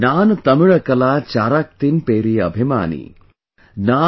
नान तमिलकला चाराक्तिन पेरिये अभिमानी |